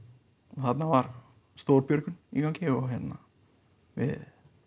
þarna var stór björgun í gangi og við